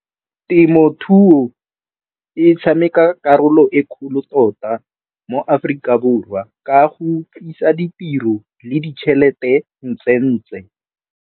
Temothuo e tshameka karolo e kgolo tota mo Aforika Borwa ka go tlisa ditiro le ditšhelete .